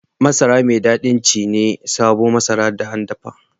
Masara mai dadi ci ne sabo Masara da an dapa